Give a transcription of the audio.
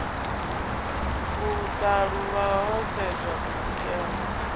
u ṱalulwa ho sedzwa kusikelwe